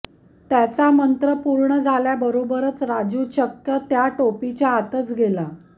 त्याचा मंत्र पूर्ण झाल्याबरोबरच राजू चक्क त्या टोपीच्या आतच गेला